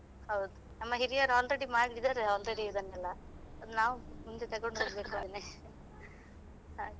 ಹೌದು ನಮ್ಮ ಹಿರಿಯರು already ಮಾಡಿದ್ದಾರೆ already ಇದನ್ನೆಲ್ಲ ಅದು ನಾವು ಮುಂದೆ ತಗೊಂಡು ಹೋಗ್ಬೇಕು ಅದನ್ನೇ ಹಾಗೆ.